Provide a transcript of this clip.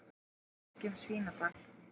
Það er ekið um Svínadal.